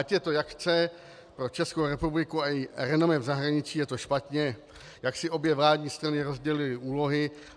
Ať je to jak chce, pro Českou republiku a její renomé v zahraničí je to špatně, jak si obě vládní strany rozdělily úlohy.